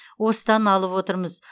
осыдан алып отырмыз